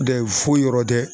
Dɛ foyi yɔrɔ tɛ..